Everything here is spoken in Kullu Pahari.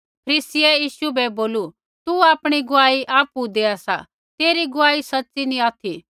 फरीसियै यीशु बै बोलू तू आपणी गुआही आपु देआ सा तेरी गुआही सच़ी नैंई ऑथि